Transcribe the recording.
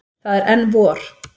Það er enn vor.